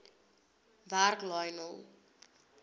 werk lionel